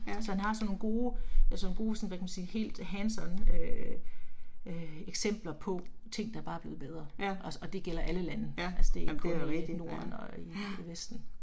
Så han har sådan nogle gode, sådan nogle sådan hvad kan man sige helt hands on øh øh eksempler på ting, der bare er blevet bedre, osse og det gælder alle lande, altså det er ikke kun i norden og i vesten